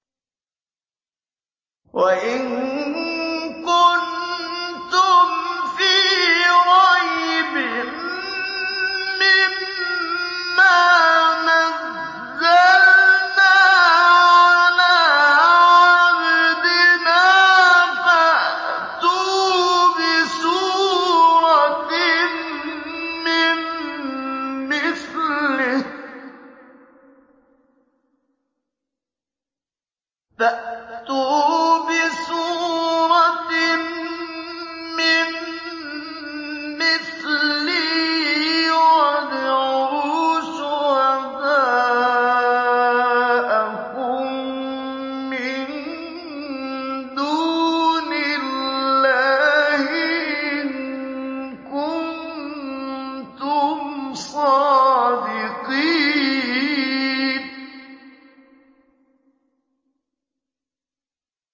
وَإِن كُنتُمْ فِي رَيْبٍ مِّمَّا نَزَّلْنَا عَلَىٰ عَبْدِنَا فَأْتُوا بِسُورَةٍ مِّن مِّثْلِهِ وَادْعُوا شُهَدَاءَكُم مِّن دُونِ اللَّهِ إِن كُنتُمْ صَادِقِينَ